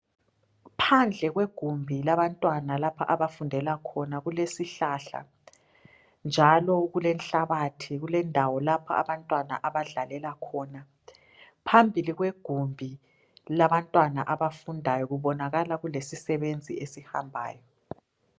Phandle kwegumbi labantwana lapho elifundelakhona kulesihlahla, njalo kule nhlabathi. Kulendawo lapho abantwana abadlalela khona. Phambili kwegumbi labantwana abafundayo kubonakala kulesisebenzi esihambayo.